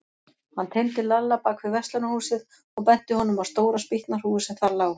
Hann teymdi Lalla bak við verslunarhúsið og benti honum á stóra spýtnahrúgu sem þar lá.